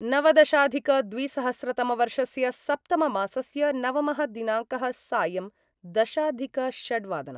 नवदशाधिकद्विसहस्रतमवर्षस्य सप्तममासस्य नवमः दिनांकः सायं दशाधिकषड्वादनम्